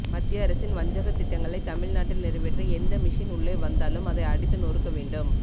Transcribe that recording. மத்திய அரசின் வஞ்சக திட்டங்களை தமிழ்நாட்டில் நிறைவேற்ற எந்த மிஷின் உள்ளே வந்தாலும் அதை அடித்து நொறுக்க வேண்டும்